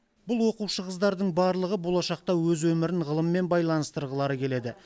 бұл оқушы қыздардың барлығы болашақта өз өмірін ғылыммен байланыстырғылары келеді